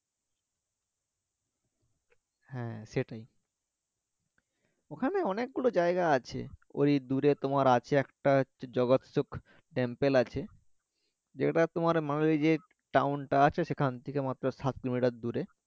হ্যা সেটাই ওখানে অনেকগুলো জায়গা আছে ওই দূরে তোমার আছে একটা জগতসুখ টেম্পেল আছে জায়গা টা তোমার মানে ওইযে টাউন টা আছে সেখান থকে মাত্র সাত কিলোমিটার দূরে